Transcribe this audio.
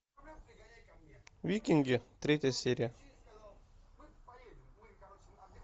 викинги третья серия